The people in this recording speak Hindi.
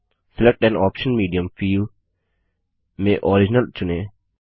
select an output medium field में ओरिजिनल चुनें